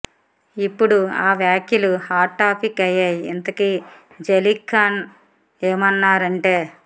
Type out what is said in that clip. ఇప్పుడు ఆ వ్యాఖ్యలు హాట్ టాపిక్ అయ్యాయి ఇంతకీ జలీల్ఖాన్ ఏమన్నారు అంటే